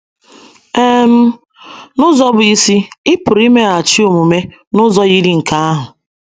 um N’ụzọ bụ́ isi, ị pụrụ imeghachi omume n’ụzọ yiri nke ahụ.